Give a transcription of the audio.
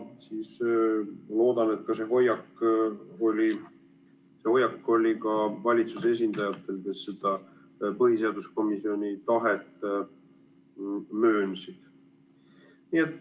Loodan, et seesama hoiak oli ka valitsuse esindajatel, kes seda põhiseaduskomisjoni tahet möönsid.